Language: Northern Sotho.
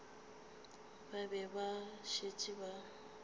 ba be ba šetše ba